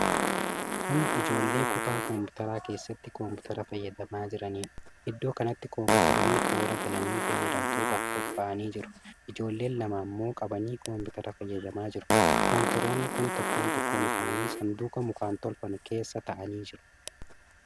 Kun Ijoollee kutaa kompiitaraa keessatti kompiitara fayyadamaa jiranidha. Iddoo kanatti kompitaroonni toora galanii fayyadamtootaaf qophaa'anii jiru. Ijoolleen lama ammoo qabanii kompiitara fayyadamaa jiru. Kompiitaroonni kun tokkoon tokkoon isaanii saanduqa mukaan tolfame keessa taa'anii jiru.